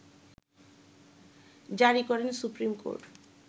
জারি করেন supreme court